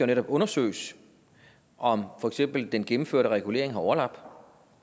netop undersøges om for eksempel den gennemførte regulering har overlap og om